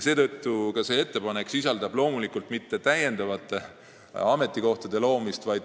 Kõnealune ettepanek ei tähenda mitte täiendavate ametikohtade loomist.